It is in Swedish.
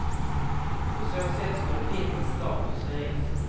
På så sätt skulle filmens status höjas.